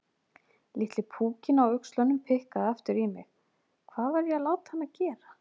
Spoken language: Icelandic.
Litli púkinn á öxlunum pikkaði aftur í mig: Hvað var ég að láta hana gera?